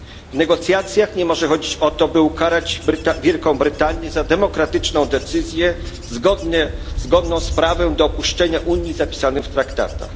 W negocjacjach nie może chodzić o to, by ukarać Wielką Brytanię za demokratyczną decyzję, zgodną z prawem do opuszczenia Unii zapisanym w traktatach.